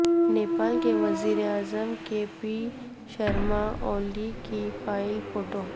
نیپال کے وزیر اعظم کے پی شرما اولی کی فائل فوٹو